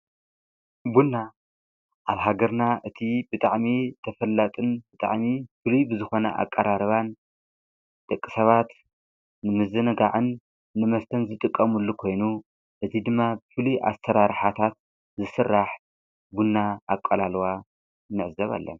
ቡና ኣብ ሃገርና እቲ ብጣዕሚ ተፈላጥን ብጣዕሚ ፍልይ ብዝኾነ ኣቃራርባን ደቂ ሰባት ንምዝንጋዕን ንመስተን ዝጥቀሙሉ ኮይኑ እቲ ድማ ብፍልይ ኣሰራርሓታት ዝስራሕ ቡና ኣቀላልዋ ንዕዘብ ኣለና።